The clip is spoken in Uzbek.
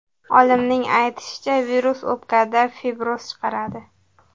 Olimning aytishicha, virus o‘pkada fibroz chaqiradi.